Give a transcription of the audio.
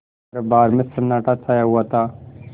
दरबार में सन्नाटा छाया हुआ था